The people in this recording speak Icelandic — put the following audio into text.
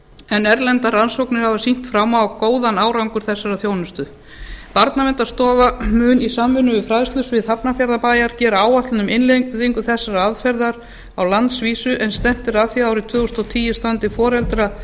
en erlendar rannsóknir hafa sýnt fram á góðan árangur þessarar þjónustu barnaverndarstofa mun í samvinnu við fræðslusvið hafnarfjarðarbæjar gera áætlun um innleiðingu þessarar aðferðar á landsvísu en stefnt er að því að árið tvö þúsund og tíu standi